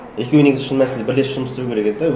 екеуі негізі шын мәнісінде бірлесіп жұмыс істеу керек еді де